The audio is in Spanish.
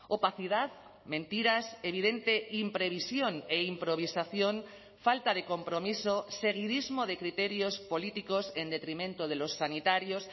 opacidad mentiras evidente imprevisión e improvisación falta de compromiso seguidismo de criterios políticos en detrimento de los sanitarios